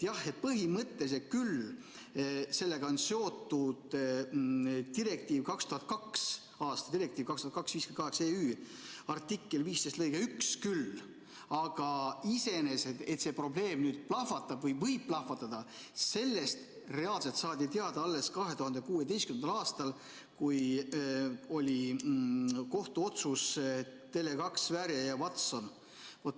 Jah, põhimõtteliselt küll sellega on seotud 2002. aasta direktiiv 2002/58/EÜ artikkel 15 lõige 1, aga iseenesest, et see probleem nüüd plahvatab või võib plahvatada, sellest reaalselt saadi teada alles 2016. aastal, kui oli kohtuotsus Tele2 Sverige vs Watson.